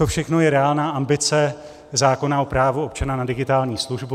To všechno je reálná ambice zákona o právu občana na digitální službu.